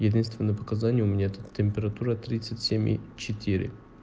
естественное показания у меня температура тридцать семь и четыре